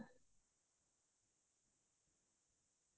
তাতে আমি গৈছিলো তাতে আমাক ঘৰাৰে লৈ গৈছিলে